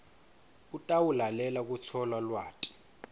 utawulalela kutfola lwati